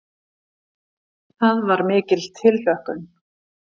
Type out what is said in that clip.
Það var mikil tilhlökkun.